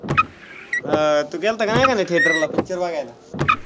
हा तू गेल्ता का नाही theatre ला picture बघायला?